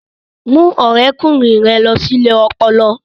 Mú ọ̀rẹ́kùnrin rẹ lọ sí ilé ọpọlọ